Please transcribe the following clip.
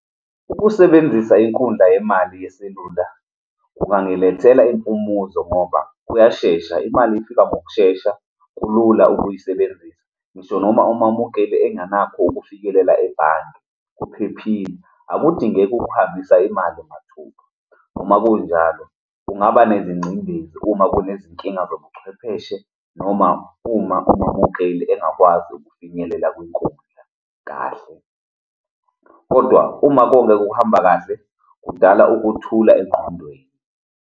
Ukusebenzisa inkundla yemali yeselula kungangiilethela impumuzo ngoba kuyashesha, imali ifika ngokushesha, kulula ukuyisebenzisa. Ngisho noma umamukele engenakho ukufikelela ebhange, kuphephile. Akudingeki ukuhambisa imali mathupha. Noma kunjalo, kungaba nezingcindezi uma kunezinkinga zobuchwepheshe noma uma omamukeli engakwazi ukufinyelela kwinkundla kahle. Kodwa uma konke kuhamba kahle, kudala ukuthula engqondweni.